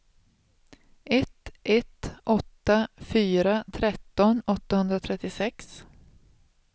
ett ett åtta fyra tretton åttahundratrettiosex